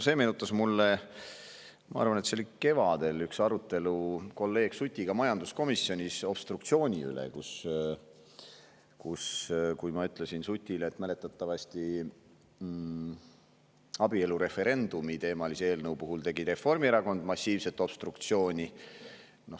See meenutas mulle üht arutelu – ma arvan, et see oli kevadel – kolleeg Sutiga majanduskomisjonis obstruktsiooni üle, kus ma ütlesin Sutile, et mäletatavasti abielureferendumi teemalise eelnõu puhul tegi Reformierakond massiivset obstruktsiooni.